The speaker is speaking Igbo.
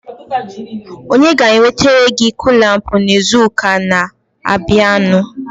onye ga-ewetere gị kụlampụ n'izuụka na-abịanụ?